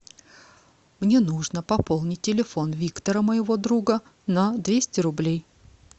мне нужно пополнить телефон виктора моего друга на двести рублей